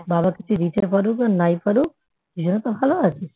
বাবা কিছু দিতে পারুক আর নাই পারুক দুজনে তো ভালো আছিস